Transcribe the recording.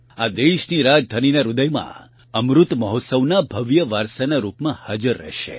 આ દેશની રાજધાનીના હૃદયમાં અમૃત મહોત્સવના ભવ્ય વારસાના રૂપમાં હાજર રહેશે